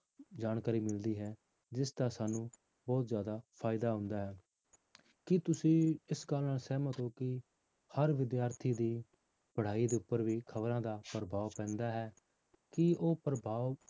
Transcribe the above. ਜਾਣਕਾਰੀ ਮਿਲਦੀ ਹੈ ਜਿਸਦਾ ਸਾਨੂੰ ਬਹੁਤ ਜ਼ਿਆਦਾ ਫ਼ਾਇਦਾ ਹੁੰਦਾ ਹੈ ਕੀ ਤੁਸੀਂ ਇਸ ਗੱਲ ਨਾਲ ਸਹਿਮਤ ਹੋ ਕਿ ਹਰ ਵਿਦਿਆਰਥੀ ਦੀ ਪੜ੍ਹਾਈ ਉੱਪਰ ਵੀ ਖ਼ਬਰਾਂ ਦਾ ਪ੍ਰਭਾਵ ਪੈਂਦਾ ਹੈ ਕੀ ਉਹ ਪ੍ਰਭਾਵ,